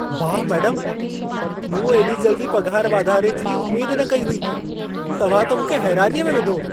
वाह मेडमु! मूं एॾी जल्दी पघार वधारे जी उमेद न कई हुई। तव्हां त मूंखे हैरानीअ में विधो।